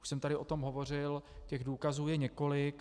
Už jsem tady o tom hovořil, těch důkazů je několik.